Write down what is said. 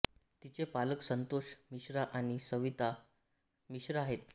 तिचे पालक संतोष मिश्रा आणि सविता मिश्रा आहेत